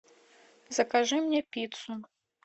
закажи мне пиццу